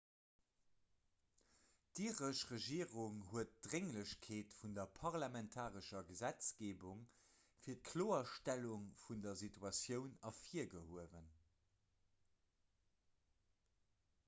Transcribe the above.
d'iresch regierung huet d'drénglechkeet vun der parlamentarescher gesetzgeebung fir d'kloerstellung vun der situatioun ervirgehuewen